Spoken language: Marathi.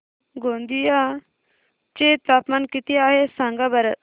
गोंदिया चे तापमान किती आहे सांगा बरं